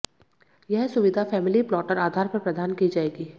यह सुविधा family floater आधार पर प्रदान की जाएगी